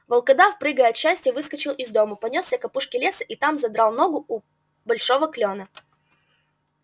волкодав прыгая от счастья выскочил из дому понёсся к опушке леса и там задрал ногу у большого клёна